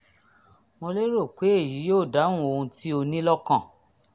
mo lérò pé èyí yóò dáhùn ohun tí o ní lọ́kàn